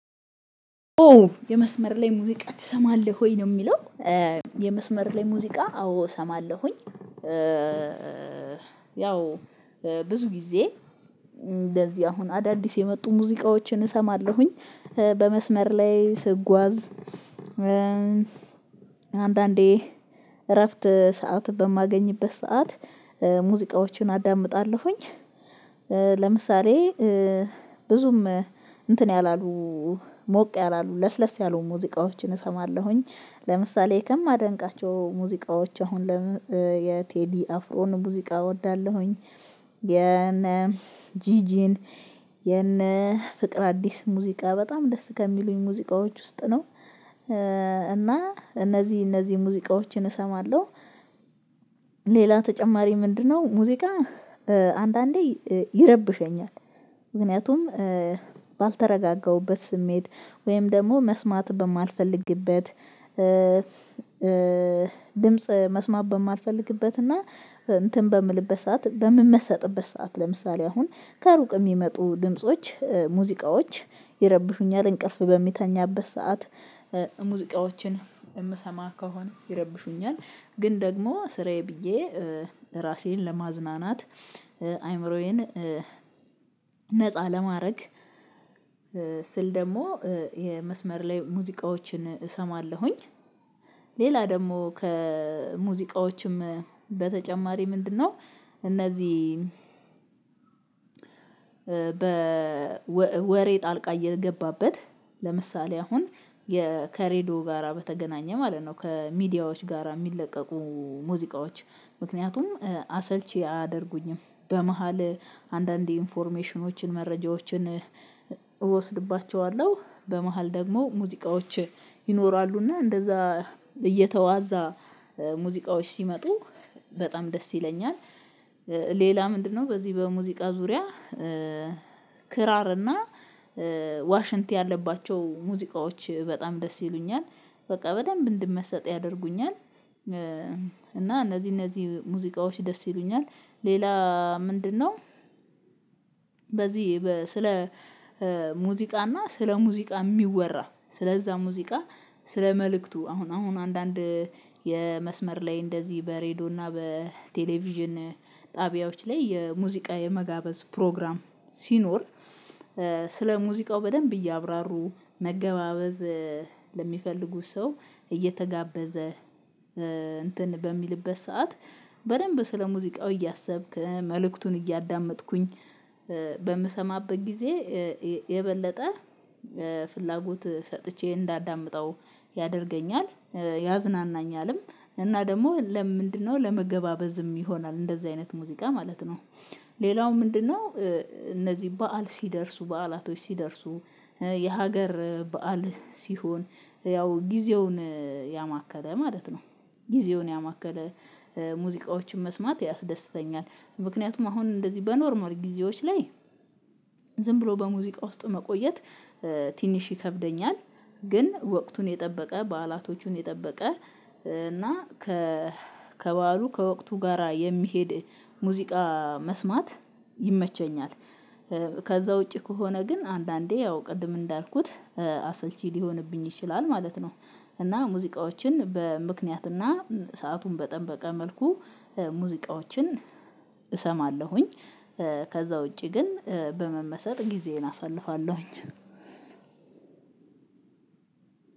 ኦ የመስመር ላይ ሙዚቃ ትሰማለህ ወይ? ነው የሚለው። የመስመር ላይ ሙዚቃ አዎ እሰማለሁኝ። ያው ብዙ ጊዜ እንደዚህ አሁን አዳዲስ የመጡ ሙዚቃዎችን እሰማለሁኝ። በመስመር ላይ ስጓዝ አንዳንዴ እረፍት ሰዓት በማገኝበት ሰዓት ሙዚቃዎችን አዳምጣለሁኝ። ለምሳሌ ብዙም እንትን ያላሉ ሞቅ ያላሉ ለስለስ ያሉ ሙዚቃዎችን እሰማለሁኝ። ለምሳሌ ከማደንቃቸው ሙዚቃዎች አሁን የቴዲ አፍሮን ሙዚቃ እወዳለሁኝ። የነ ጂጂን የነ ፍቅረአዲስን ሙዚቃ በጣም ደስ ከሚሉኝ ሙዚቃዎች ውስጥ ነው። እና እነዚህ እነዚህ ሙዚቃዎችን እሰማለሁ። ሌላ ተጨማሪ ምንድነው ሙዚቃ አንዳንዴ ይረብሸኛል። ምክንያቱም ባልተረጋጋሁበት ስሜት ወይም ደግሞ መስማት በማልፈልግበት ድምጽ መስማት በማልፈልግበት እና እንትን በምልበት ሰዓት በምመሰጥበት ሰዓት ለምሳሌ አሁን ከሩቅ የሚመጡ ድምጾች ሙዚቃዎች ይረብሹኛል እንቅልፍ በምተኛበት ሰዓት። ሙዚቃዎችን የምሰማ ከሆነ ይረብሹኛል። ግን ደግሞ ስራዬ ብዬ ራሴን ለማዝናናት አይምሮዬን ነፃ ለማድረግ ስል ደግሞ የመስመር ላይ ሙዚቃዎችን እሰማለሁኝ። ሌላ ደግሞ ከሙዚቃዎችም በተጨማሪ ምንድነው እነዚህ በወሬ ጣልቃ እየገባበት ለምሳሌ አሁን ከሬድዮ ጋራ በተገናኘ ማለት ነው። ከሚዲያዎች ጋራ የሚለቀቁ ሙዚቃዎች ምክንያቱም አሰልቺ አያደርጉኝም። በመሃል አንዳንድ ኢንፎርሜሽኖችን፣ መረጃዎችን እወስድባቸዋለሁ። በመሃል ደግሞ ሙዚቃዎች ይኖራሉና እንደዛ እየተዋዛ ሙዚቃዎች ሲመጡ በጣም ደስ ይለኛል። ሌላ ምንድነው በዚህ በሙዚቃ ዙሪያ ክራር እና ዋሽንት ያለባቸው ሙዚቃዎች በጣም ደስ ይሉኛል። በቃ በደንብ እንድመሰጥ ያደርጉኛል። እና እነዚህ እነዚህ ሙዚቃዎች ደስ ይሉኛል። ሌላ ምንድነው በዚህ ስለ ሙዚቃና ስለ ሙዚቃ የሚወራ ስለዛ ሙዚቃ ስለ መልእክቱ፤ አሁን አሁን አንዳንድ የመስመር ላይ እንደዚህ በሬዲዮ እና በቴሌቪዥን ጣቢያዎች ላይ የሙዚቃ የመጋበዝ ፕሮግራም ሲኖር፤ ስለ ሙዚቃው በደንብ እያብራሩ መገባበዝ ለሚፈልጉት ሰው እየተጋበዘ እንትን በሚልበት ሰዓት በደንብ ስለ ሙዚቃው እያሰብኩ መልእክቱን እያዳመጥኩኝ በምሰማበት ጊዜ የበለጠ ፍላጎት ሰጥቼ እንዳዳምጠው ያደርገኛል ያዝናናኛልም። እና ደግሞ ለምንድነው ለመገባበዝም ይሆናል እንደዚህ አይነት ሙዚቃ ማለት ነው። ሌላው ምንድነው እነዚህ በዓል ሲደርሱ በዓላቶች ሲደርሱ የሀገር በዓል ሲሆን ያው ጊዜውን ያማከለ ማለት ነው ጊዜውን ያማከለ ሙዚቃዎችን መስማት ያስደስተኛል። ምክንያቱም አሁን እንደዚህ በኖርማል ጊዜዎች ላይ ዝም ብሎ በሙዚቃ ውስጥ መቆየት ትንሽ ይከብደኛል። ግን ወቅቱን የጠበቀ በዓላቶቹን የጠበቀ እና ከ ከበዓሉ ከወቅቱ ጋራ የሚሄድ ሙዚቃ መስማት ይመቸኛል። ከዛ ውጪ ከሆነ ግን አንዳንዴ ያው ቅድም እንዳልኩት አሰልቺ ሊሆንብኝ ይችላል ማለት ነው። እና ሙዚቃዎችን በምክንያትና ሰአቱን በጠበቀ መልኩ ሙዚቃዎችን እሰማለሁኝ። ከዛ ውጪ ግን በመመሰጥ ጊዜዬን አሳልፋለሁኝ።